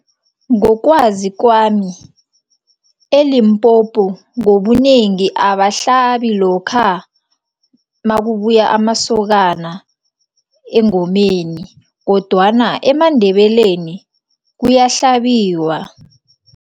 Ngokwazi kwami, eLimpopo ngobunengi abahlabi lokha makubuya amasokana engomeni kodwana emaNdebeleni kuyahlabiwa.